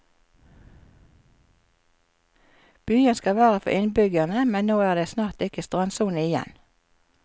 Byen skal være for innbyggerne, men nå er det snart ikke strandsone igjen.